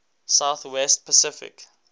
south west pacific